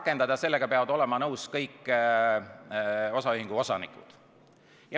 ... peavad sellega olema nõus kõik osaühingu osanikud.